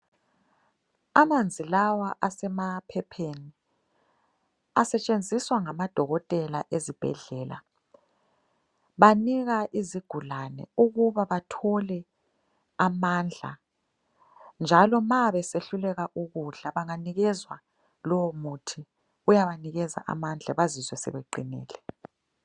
Amanzi lawa asemaphepheni asetshenziswa ngamadokotela ezibhedlela. Banika izigulane ukuba bathole amandla njalo ma besehluleka ukudla banganikezwa lowomuthi uyabanikeza amandla bazizwe sebeqinile.